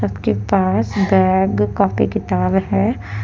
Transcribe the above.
के पास bag copy किताब है।